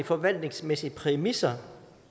forvaltningsmæssige præmisser